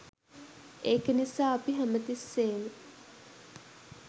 ඒක නිසා අපි හැමතිස්සේම